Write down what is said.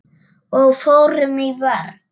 Og fórum í vörn.